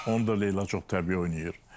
Onu da Leyla çox təbii oynayır.